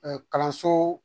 kalanso